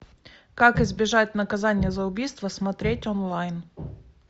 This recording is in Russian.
как избежать наказания за убийство смотреть онлайн